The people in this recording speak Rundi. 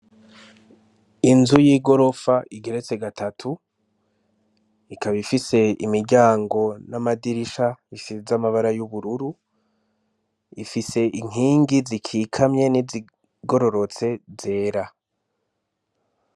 Inzu y'igorofa igeretse gatatu ikaba ifise imiryango n'amadirisha isize ibara ry'ubururu ifise inkingi zikikamye nizigororotse zera